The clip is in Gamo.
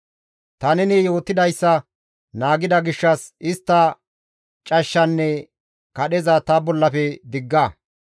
Ta neni yootidayssa naagida gishshas istta cashshanne kadheza ta bollafe digga.